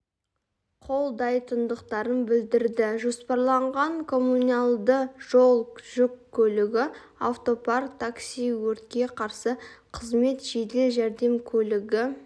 қолдайтындықтарын білдірді жоспарланған коммуналдық жол жүк көлігі автопарк такси өртке қарсы қызмет жедел жәрдем көлігі